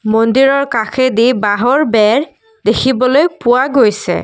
মন্দিৰৰ কাষেদি বাঁহৰ বেৰ দেখিবলৈ পোৱা গৈছে।